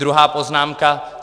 Druhá poznámka.